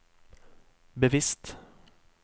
bevisst